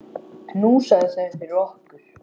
Kol, segir Palli.